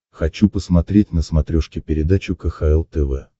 хочу посмотреть на смотрешке передачу кхл тв